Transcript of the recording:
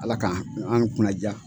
Ala ka an kunnaja.